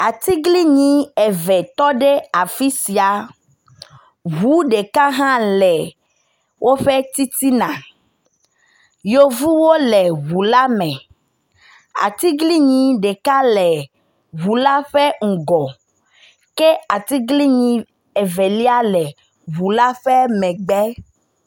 Atiglinyi eve tɔ ɖe afi sia. Ŋu ɖeka hã le woƒe titina. Yevuwo le ŋu la me. Atiglinyi ɖeka le ŋu la ƒe ŋgɔ ke atiglinyi Evelia le ŋu la ƒe megbe.